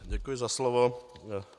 Děkuji za slovo.